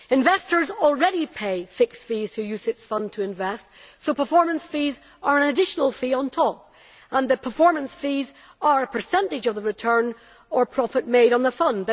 Investors already pay fixed fees to UCITS funds to invest, so performance fees are an additional fee on top and the performance fees are a percentage of the return or profit made on the fund.